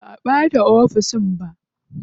Ba a bata ofis ba.